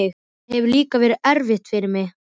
Það hefur líka verið erfitt fyrir mig.